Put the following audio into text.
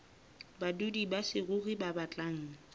badudi ba saruri ba batlang